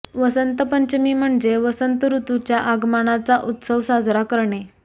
वसंत पंचमी म्हणजे वसंत ऋतूच्या आगमनाचा उत्सव साजरा करणे